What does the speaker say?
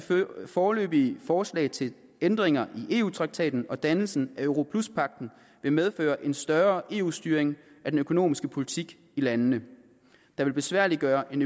foreløbige forslag til ændringer i eu traktaten og dannelsen af europluspagten vil medføre en større eu styring af den økonomiske politik i landene der vil besværliggøre en